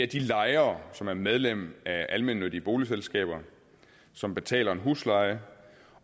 de lejere som er medlem af almennyttige boligselskaber og som betaler en husleje